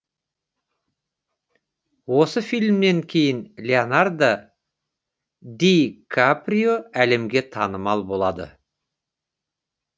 осы фильмнен кейін леонардо ди каприо әлемге танымал болады